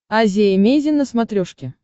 азия эмейзин на смотрешке